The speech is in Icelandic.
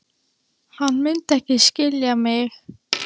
En hann mundi ekki skilja mig.